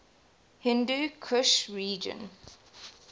hindu kush region